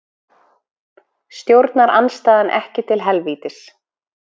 Stjórnarandstaðan ekki til helvítis